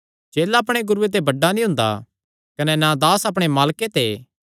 चेला अपणे गुरूये ते बड्डा नीं हुंदा कने ना दास अपणे मालके ते